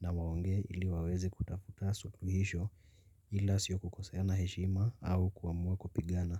na mwongee ili waweze kutafuta suluhisho ila sio kukoseana heshima au kuamua kupigana.